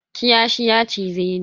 Kiyashi ya cize ni.